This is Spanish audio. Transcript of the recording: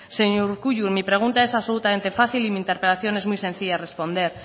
señor urkullu mi pregunta es absolutamente fácil y mi interpelación es muy sencilla de responder